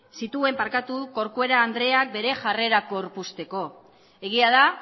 zituen corcuera andreak bere jarrera gorpuzteko egia da